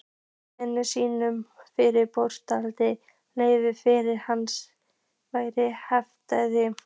Marteinn skýrði fyrir bóndanum hvert ferð hans væri heitið.